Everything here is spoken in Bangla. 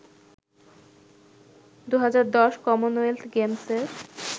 ২০১০ কমনওয়েলথ গেমসের